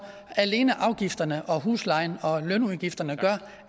alene afgifterne huslejen og lønudgifterne gør